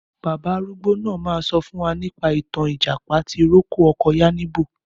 Bàbá arúgbó náà ma sọ fún wa nípa ìtàn Ìjàpá tì rókò ọkọ Yáníbo.